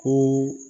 Ko